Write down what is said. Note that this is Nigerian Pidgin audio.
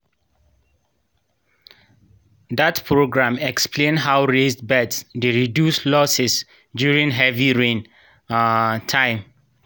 dat programme explain how raised beds dey reduce losses during heavy rain um time.